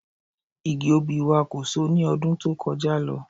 Igi obì wa kò so ní ọdún tó kọjá lọ